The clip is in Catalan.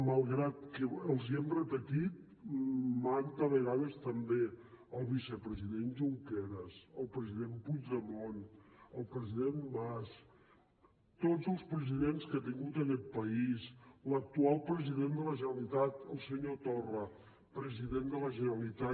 malgrat que els hi hem repetit manta vegades també el vicepresident junqueras el president puigdemont el president mas tots els presidents que ha tingut aquest país l’actual president de la generalitat el senyor torra president de la generalitat